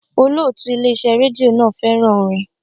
Olótùú Ilé iṣẹ́ rédíò náà fẹ́ràn orin.